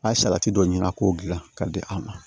A' ye salati dɔ ɲini a k'o gilan k'a di a ma